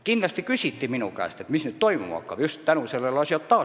Muidugi küsiti minu käest, mis nüüd toimuma hakkab – just selle ažiotaaži tõttu.